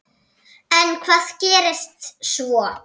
En hvað gerist svo?